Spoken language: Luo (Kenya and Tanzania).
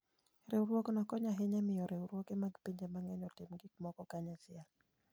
Riwruogno konyo ahinya e miyo riwruoge mag pinje mang'eny otim gik moko kanyachiel.